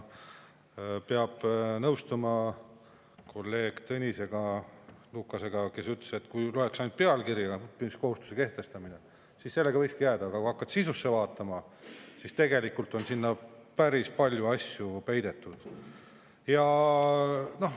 Peab nõustuma kolleeg Tõnis Lukasega, kes ütles, et kui lähtuda ainult pealkirjas olevast õppimiskohustuse kehtestamisest, siis võikski sellega, aga kui hakkad sisusse vaatama, siis näed, et tegelikult on sinna päris palju asju peidetud.